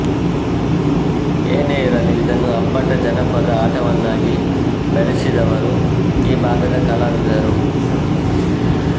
ಏನೇ ಇರಲಿ ಇದನ್ನು ಅಪ್ಪಟ ಜನಪದ ಆಟವನ್ನಾಗಿ ಬೆಳೆಸಿದವರು ಈ ಭಾಗದ ಕಲಾವಿದರು